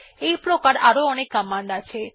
এইপ্রকার আরো অনেক কমান্ড আছে